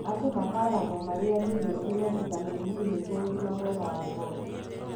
Andũ mataaragwo marĩage irio cĩina vitameni E nĩgũo úgima mwega wa ngothi.